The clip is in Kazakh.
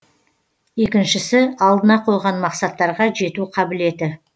екіншісі алдына қойған мақсаттарға жету қабілеті